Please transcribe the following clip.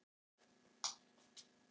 Sara skoraði gegn Rússunum